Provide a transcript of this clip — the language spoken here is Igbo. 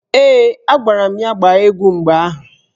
Ee, agwara m ya gbaa egwu mgbe ahụ.